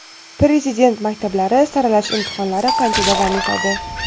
Prezident maktablari saralash imtihonlari qancha davom etadi?.